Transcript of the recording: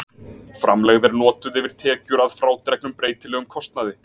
Framlegð er notuð yfir tekjur að frádregnum breytilegum kostnaði.